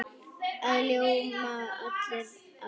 Það ljóma allir af fjöri.